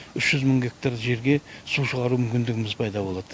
үш жүз мың гектар жерге су шығару мүмкіндігіміз пайда болады